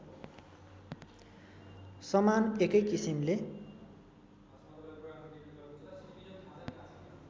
समान एकै किसिमले